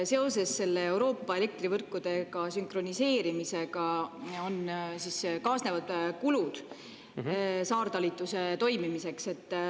Seoses selle Euroopa elektrivõrkudega sünkroniseerimisega siis kaasnevad kulud saartalituse toimimiseks.